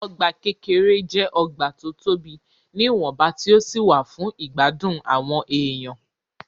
Ọgbà kékeré jẹ́ ọgbà tó tobì ní ìwọ̀nba tí ó sì wà fún ìgbádùn àwọn èèyan.